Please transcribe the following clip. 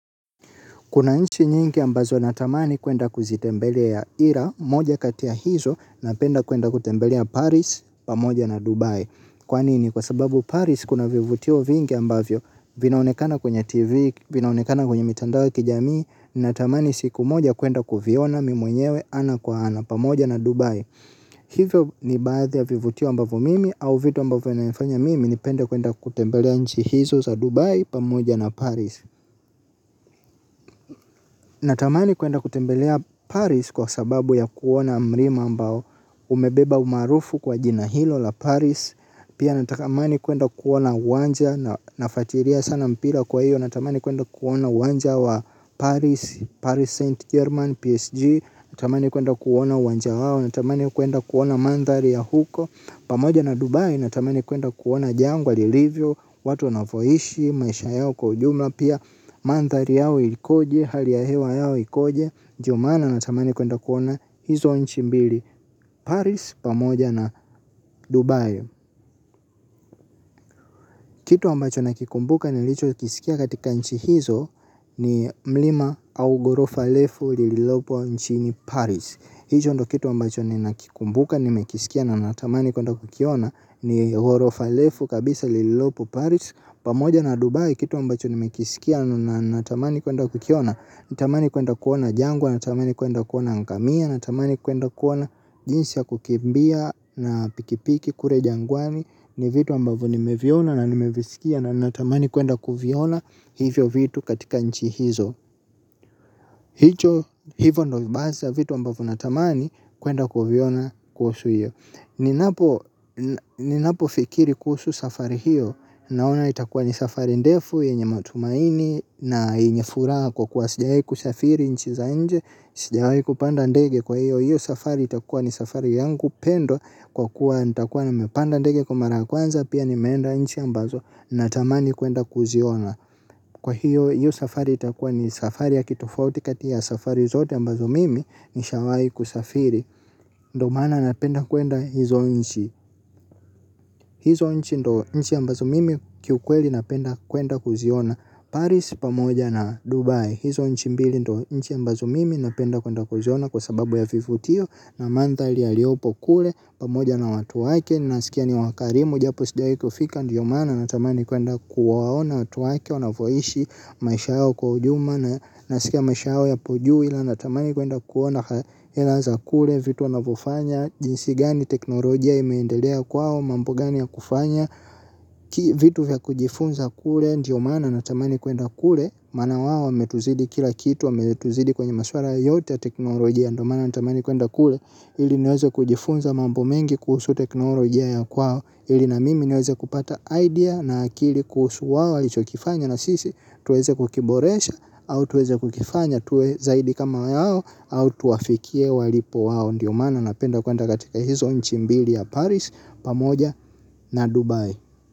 Kuna nchi nyingi ambazo natamani kuenda kuitembelea, ila moja kati ya hizo, napenda kuenda kutembelea Paris, pamoja na Dubai. Kwa nini, kwa sababu Paris kuna vivutio vingi ambavyo, vinaonekana kwenye TV, vinaonekana kwenye mitandao ya kijamii, natamani siku moja kuenda kuviona, mi mwenyewe, ana kwa ana, pamoja na Dubai. Hivyo ni baadhi ya vivutio ambavyo mimi, au vitu ambavyo yanafanya mimi, nipenda kuenda kutembelea nchi hizo za Dubai, pamoja na Paris. Natamani kuenda kutembelea Paris kwa sababu ya kuona mlima ambao umebeba umaarufu kwa jina hilo la Paris. Pia natamani kuenda kuona uwanja na nafuatilia sana mpira kwa hiyo natamani kuenda kuona uwanja wa Paris, Paris Saint Germain, PSG. Natamani kuenda kuona uwanja wao, natamani kuenda kuona mandhari ya huko. Pamoja na Dubai natamani kuenda kuona jangwa, lilivyo, watu wanavoishi, maisha yao kwa ujumla. Pia mandhari yao ilikoje, hali ya hewa yao ikoje. Ndio maana natamani kwenda kuona. Hizo nchi mbili Paris pamoja na Dubai. Kitu ambacho nakikumbuka nilicho kisikia katika nchi hizo. Ni mlima au gorofa refu lililopo nchini Paris. Hicho ndo kitu ambacho ninakikumbuka nimekisikia na natamani kuenda kukiona. Ni gorofa refu kabisa lililopo Paris pamoja na Dubai. Kitu ambacho nimekisikia na natamani kwenda kukiona. Natamani kuenda kuona jangwa natamani kuenda kuona ngamia natamani kuenda kuona jinsi ya kukimbia na pikipiki kule jangwani ni vitu ambavyo nimeviona na nimevisikia na natamani kuenda kuviona hivyo vitu katika nchi hizo. Hicho hivo ndo basi vitu ambavyo natamani kuenda kuviona kuhusu hiyo. Ninapofikiri kuhusu safari hiyo. Naona itakuwa ni safari ndefu yenye matumaini na yenye furaha kwa kuwa sijai kusafiri nchi za nje. Sijai kupanda ndege kwa hiyo hiyo safari itakuwa ni safari yangu pendo kwa kuwa nitakuwa nimepanda ndege kwa mara ya kwanza. Pia nimeenda nchi ambazo natamani kuenda kuziona. Kwa hiyo hiyo safari itakuwa ni safari ya kitofauti kati ya safari zote ambazo mimi nishawahi kusafiri. Ndo maana napenda kuenda hizo nchi. Hizo nchi ndo nchi ambazo mimi kiukweli napenda kwenda kuziona Paris pamoja na Dubai. Hizo nchi mbili ndo nchi ambazo mimi napenda kwenda kuziona kwa sababu ya vivutio na mandhari yaliyopo kule pamoja na watu wake. Ninasikia ni wakarimu japo sijai kufika. Ndiyo maana natamani kwenda kuwaona watu wake wanavoishi. Maisha yao kwa ujumla. Nasikia maisha yao yapo juu ila natamani kwenda kuona. Hela za kule vitu wanavyofanya. Jinsi gani teknolojia imeendelea kwao. Mambo gani ya kufanya. Vitu vya kujifunza kule. Ndiyo maana natamani kwenda kule. Maana wao wametuzidi kila kitu wqmetuzidi kwenye maswala yoyote ya teknolojia. Ndiyo maana natamani kwenda kule. Hili niweze kujifunza mambo mengi kuhusu teknolojia ya kwao ili na mimi niweze kupata idea na akili kuhusu wao walichokifanya na sisi tuweze kukiboresha au tuweze kukifanya tuwe zaidi kama yao au tuwafikie walipo wao ndio maana napenda kwenda katika hizo nchi mbili ya Paris pamoja na Dubai.